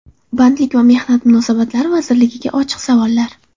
Bandlik va mehnat munosabatlari vazirligiga ochiq savollar.